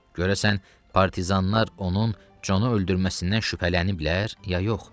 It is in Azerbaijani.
Görəsən, partizanlar onun Conu öldürməsindən şübhələniblər, ya yox?